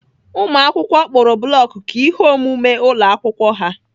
Ụmụakwụkwọ kpụrụ block ka ihe omume ụlọ akwụkwọ ha.